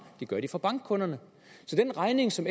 det gør de fra bankkunderne så den regning som